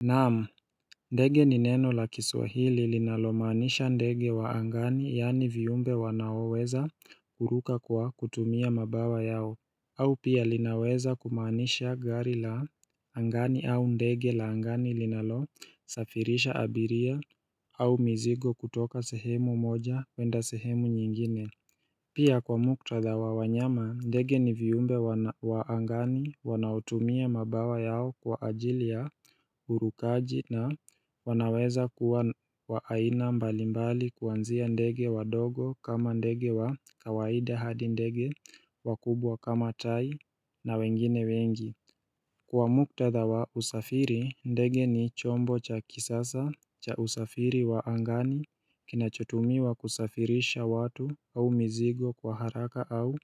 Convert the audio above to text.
Naam, ndege ni neno la kiswahili linalomaanisha ndege wa angani yani viumbe wanaoweza kuruka kwa kutumia mabawa yao au pia linaweza kumaanisha gari la angani au ndege la angani linalosafirisha abiria au mizigo kutoka sehemu moja kwenda sehemu nyingine Pia kwa muktadha wa wanyama, ndege ni viumbe wa angani wanaotumia mabawa yao kwa ajili ya urukaji na wanaweza kuwa wa aina mbalimbali kwanzia ndege wadogo kama ndege wa kawaida hadi ndege wakubwa kama tai na wengine wengi Kwa muktadha wa usafiri ndege ni chombo cha kisasa cha usafiri wa angani kinachotumiwa kusafirisha watu au mizigo kwa haraka au